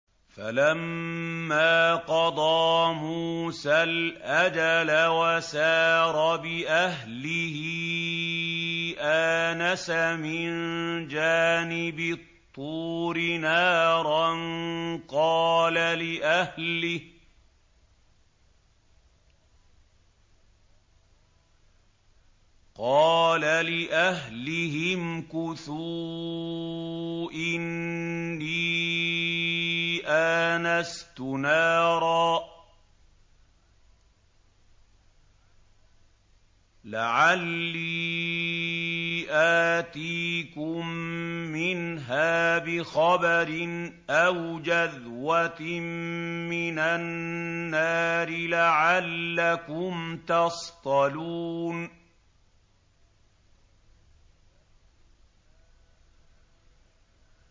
۞ فَلَمَّا قَضَىٰ مُوسَى الْأَجَلَ وَسَارَ بِأَهْلِهِ آنَسَ مِن جَانِبِ الطُّورِ نَارًا قَالَ لِأَهْلِهِ امْكُثُوا إِنِّي آنَسْتُ نَارًا لَّعَلِّي آتِيكُم مِّنْهَا بِخَبَرٍ أَوْ جَذْوَةٍ مِّنَ النَّارِ لَعَلَّكُمْ تَصْطَلُونَ